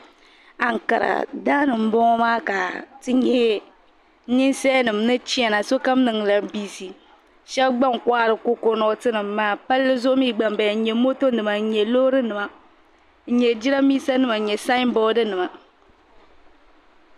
Ankara daani n boŋo maa ka ninsal nim chɛna. sokam niŋla bizɛ shab gba n kohari kokonot nim maa palli zuɣu mii gba n bala n nyɛ mota nima n nyɛ Loori nima n nyɛ jiranbiisa nima nyɛ sanboodi nima